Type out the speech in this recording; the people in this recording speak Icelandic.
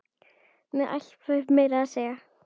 Með alvæpni meira að segja!